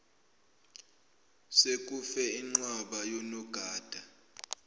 sekufe inqwaba yonogada